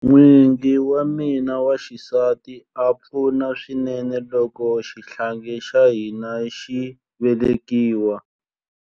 N'wingi wa mina wa xisati a pfuna swinene loko xihlangi xa hina xi velekiwa.